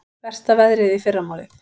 Versta veðrið í fyrramálið